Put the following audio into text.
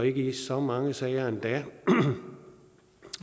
ikke i så mange sager endda